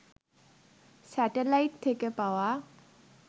satellite থেকে পাওয়া